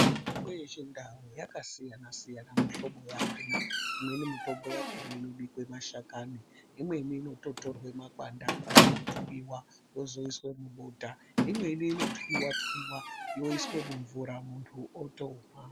Mitombo yechindau, yakasiyana siyana mihlobo yakhona. Imweni mitombo yakhona inobikwe mashakani, imweni inototorwe makwanda akhona eyithwiwa wozoyiswe mubota. Imweni inothwiwa thwiwa yoyiswe mumvura, munthu otomwa.